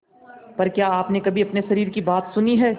पर क्या आपने कभी अपने शरीर की बात सुनी है